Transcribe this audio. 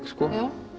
skoða